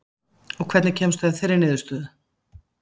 Og hvernig kemstu að þeirri niðurstöðu?